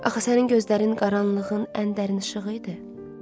Axı sənin gözlərin qaranlığın ən dərin işığı idi.